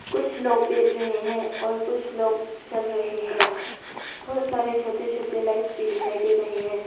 कुछ लोग बैठ रहे हैं और कुछ लोग चल रहे है बहोत सारे छोटे छोटे लाइंस भी दिखाई दे रहे है।